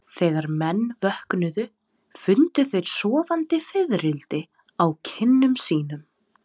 Þegar menn vöknuðu fundu þeir sofandi fiðrildi á kinnum sínum.